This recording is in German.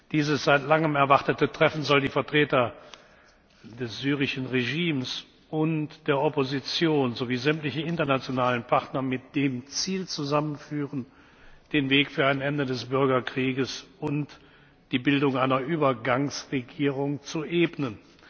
Dieses seit langem erwartete Treffen soll die Vertreter des syrischen Regimes und der Opposition sowie sämtliche internationalen Partner mit dem Ziel zusammenführen, den Weg für ein Ende des Bürgerkriegs und die Bildung einer Übergangsregierung zu ebnen.